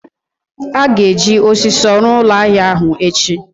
a ga-eji osiso ruo ulo ahia ahu echi